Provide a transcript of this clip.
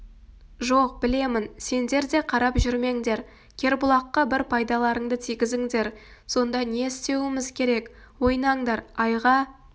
жоқ білемін сендер де қарап жүрмеңдер кербұлаққа бір пайдаларыңды тигізіңдер сонда не істеуіміз керек ойнаңдар айға